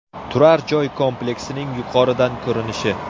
Turar-joy kompleksining yuqoridan ko‘rinishi.